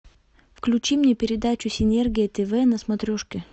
включи мне передачу синергия тв на смотрешке